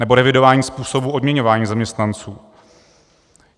Nebo revidování způsobů odměňování zaměstnanců.